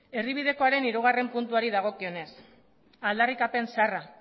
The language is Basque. erdibidekoaren hirugarrena puntuari dagokionez aldarrikapen zaharra